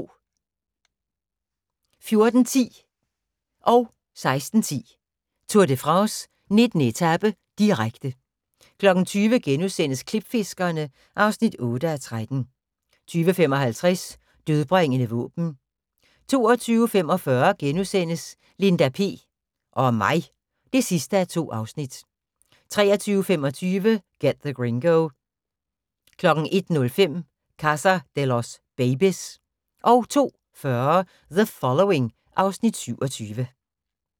14:10: Tour de France: 19. etape, direkte 16:10: Tour de France: 19. etape, direkte 20:00: Klipfiskerne (8:13)* 20:55: Dødbringende våben 22:45: Linda P... og mig (2:2)* 23:25: Get the Gringo 01:05: Casa de los babys 02:40: The Following (Afs. 27)